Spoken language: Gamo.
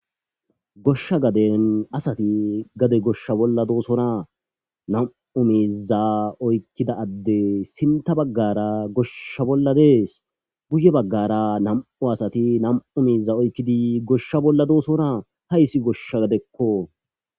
Goshsha gaden asati gade goishe Bolla dossona Namu miza Oykida adey Sinta bagara gosha Bolla Des Guye bagara Namu Miza Oykida Gosha Bolla dossona Haysi Gosha gadeko